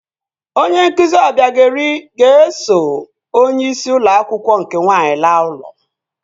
Onye nkụzi Ọbịagaeri ga-eso onyeisi ụlọ akwụkwọ nke nwaanyị laa ụlọ